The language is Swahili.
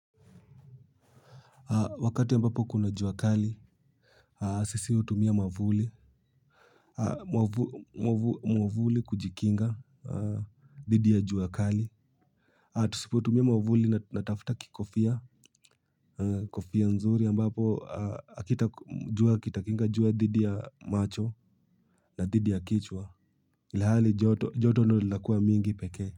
Wakati ambapo kuna jua kali, sisi hutumia mwavuli, mwavuli kujikinga dhidi ya jua kali. Tusipo tumia mwavuli na tafta kikofia, kofia nzuri ambapo kitakinga jua dhidi ya macho na dhidi ya kichwa. Ilhali joto, joto ndo linakua mingi peke.